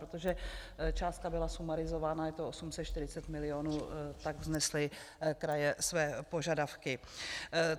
Protože částka byla sumarizována, je to 840 milionů, tak vznesly kraje své požadavky.